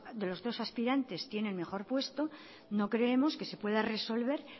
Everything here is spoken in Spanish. de los dos aspirantes tiene el mejor puesto no creemos que se pueda resolver